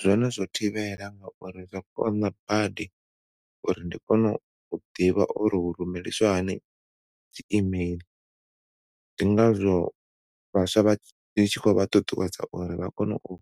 Zwone zwo thivhela ngauri zwo konḓa badi uri ndi kone u ḓivha uri hu rumelisiwa hani dzi e-mail ndi ngazwo vhaswa ndi tshi khou vha ṱuṱuwedza uri vha kone u